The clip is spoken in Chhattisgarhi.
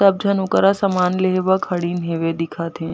सब झन ओ करा ले सामान लिए ब खड़िन हेवे दिखत हे।